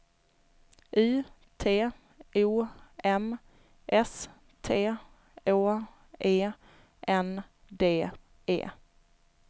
U T O M S T Å E N D E